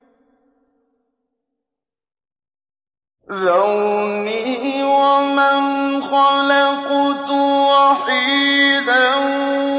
ذَرْنِي وَمَنْ خَلَقْتُ وَحِيدًا